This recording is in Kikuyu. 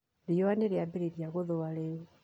Riũa nĩrĩambĩrĩria gũthũa rĩu